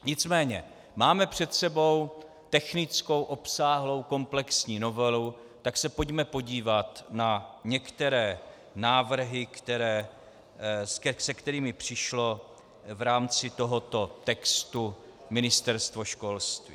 Nicméně máme před sebou technickou, obsáhlou, komplexní novelu, tak se pojďme podívat na některé návrhy, se kterými přišlo v rámci tohoto textu Ministerstvo školství.